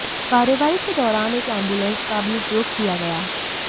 कार्यवाही के दौरान एक एम्बुलेंस का भी उपयोग किया गया